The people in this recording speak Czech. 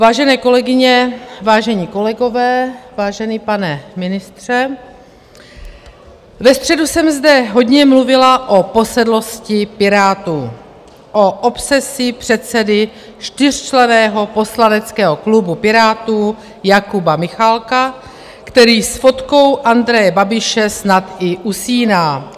Vážené kolegyně, vážení kolegové, vážený pane ministře, ve středu jsem zde hodně mluvila o posedlosti Pirátů, o obsesi předsedy čtyřčlenného poslaneckého klubu Pirátů Jakuba Michálka, který s fotkou Andreje Babiše snad i usíná.